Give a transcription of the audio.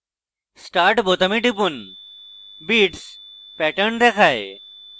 start বোতামে টিপুন beats pattern দেখায়